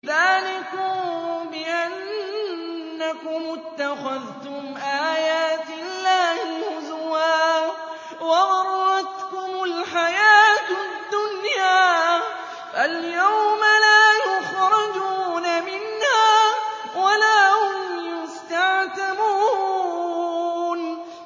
ذَٰلِكُم بِأَنَّكُمُ اتَّخَذْتُمْ آيَاتِ اللَّهِ هُزُوًا وَغَرَّتْكُمُ الْحَيَاةُ الدُّنْيَا ۚ فَالْيَوْمَ لَا يُخْرَجُونَ مِنْهَا وَلَا هُمْ يُسْتَعْتَبُونَ